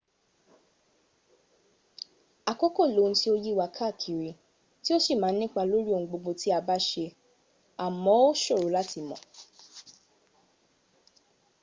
àkókò loun tí ó yíwa káàkiri tí ó sì má ń nípa lórí ohun gbogbo tí a bá ṣe à mọ́ ó ṣòro láti mọ̀